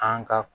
An ka